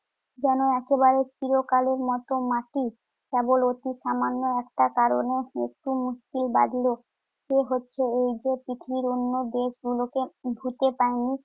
যেন একেবারে চিরকালের মত মাটি। কেবল অতি সামান্য একটা কারণে মৃত্যু মুষ্টি বাঁধলো। সে হচ্ছে এই যে পৃথিবীর অন্য দেশগুলোকে ভুতে পায়নি?